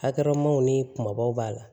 Halamaw ni kumabaw b'a la